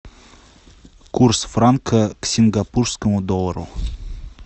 курс франка к сингапурскому доллару